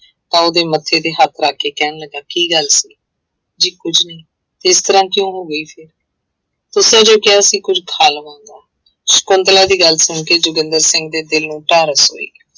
ਤਾਂ ਉਹਦੇ ਮੱਥੇ ਤੇ ਹੱਥ ਰੱਖ ਕੇ ਕਹਿਣ ਲੱਗਾ ਕੀ ਗੱਲ ਸੀ? ਜੀ ਕੁੱਝ ਨਹੀਂ, ਇਸ ਤਰ੍ਹਾਂ ਕਿਉਂ ਹੋ ਗਈ ਸੀ? ਤੁਸੀ ਹੀ ਕਿਹਾ ਸੀ ਕੁੱਝ ਖਾ ਲਵਾਂਗਾ, ਸਕੁੰਤਲਾ ਦੀ ਗੱਲ ਸੁਣ ਕੇ ਜੋਗਿੰਦਰ ਸਿੰਘ ਦੇ ਦਿਲ ਨੂੰ ਧਾਰਫ ਹੋਈ।